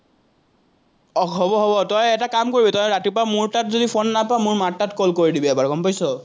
আহ হব হব, তই এটা কাম কৰিবি, তই ৰাতিপুৱা মোৰ তাত যদি ফোন নাপাৱ, মোৰ মাৰ তাত কৰি দিবি এবাৰ, গম পাইছ।